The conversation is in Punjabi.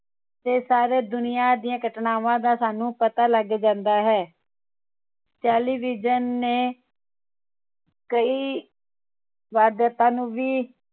ਤੇ ਸਾਰੀ ਦੁਨੀਆ ਦੀਆਂ ਘਟਨਾਵਾਂ ਦਾ ਸਾਨੂ ਪਤਾ ਲਗ ਜਾਂਦਾ ਹੈ television ਨੇ ਕਈ ਵਧਯਾਪਨ ਵੀ